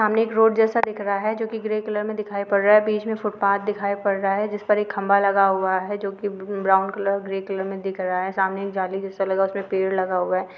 सामने एक रोड जेसा दिख रहा है जोकि ग्रे कलर में दिखाई पड रहा है बिच मे फुटपाथ दिखाइ पड़ रहा है जिस पर एक खंभा लगा हुआ है जो की ब्राउन कलर ग्रे कलर में दिख रा हे सामने एक जाली जेसा लगा हुआ है उसमे पेड़ लगा हुआ है।